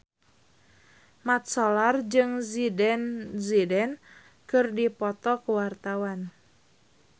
Mat Solar jeung Zidane Zidane keur dipoto ku wartawan